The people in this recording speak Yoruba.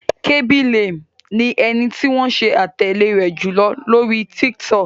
Khaby Lame ni ẹni tí wọ́n ṣe atẹle rẹ̀ jùlọ lóri TikTok.